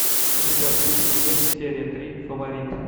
у тебя в списке есть серия три фаворит